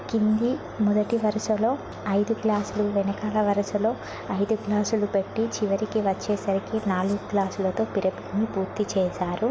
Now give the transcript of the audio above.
కింది మొదటి వరుసలో ఐదు గ్లాసులు వెనకాల వరసలో ఐదు గ్లాసులు పెట్టి చివరికి వచ్చేసరికి నాలుగు గ్లాసులతో పిరమిడ్ని పూర్తి చేశారు.